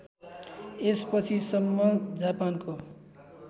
यसपछि सम्म जापानको